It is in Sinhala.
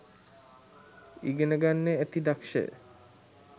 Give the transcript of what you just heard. ඉගෙන ගන්න ඇති දක්ෂය